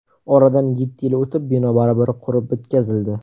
Oradan yetti yil o‘tib, bino baribir qurib bitkazildi.